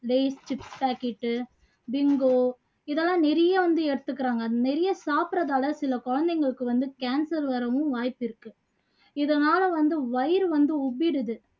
lays chips packet உ Bingo இதெல்லாம் நிறைய வந்து எடுத்துக்குறாங்க அது நிறைய சாப்புடுறதால சில குழந்தைங்களுக்கு வந்து cancer வரவும் வாய்ப்பிருக்கு இதனால வந்து வயிறு வந்து உப்பிருது